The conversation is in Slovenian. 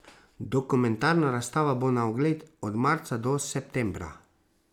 Dokumentarna razstava bo na ogled od marca do septembra.